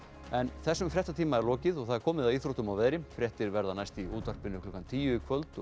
þessum fréttatíma er lokið og komið að íþróttum og veðri fréttir verða næst í útvarpi klukkan tíu í kvöld